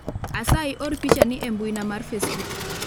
asayi or picha ni e mbuina mar facebook